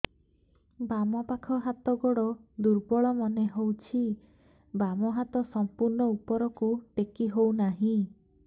ବାମ ପାଖ ହାତ ଗୋଡ ଦୁର୍ବଳ ମନେ ହଉଛି ବାମ ହାତ ସମ୍ପୂର୍ଣ ଉପରକୁ ଟେକି ହଉ ନାହିଁ